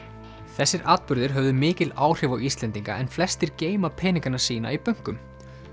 þessir atburðir höfðu mikil áhrif á Íslendinga en flestir geyma peningana sína í bönkum